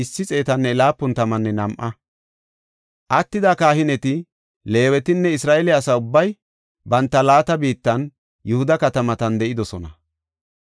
Attida kahineti, Leewetinne Isra7eele asa ubbay banta laata biittan Yihuda katamatan de7idosona.